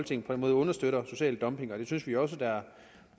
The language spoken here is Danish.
den måde understøtter social dumping det synes vi også er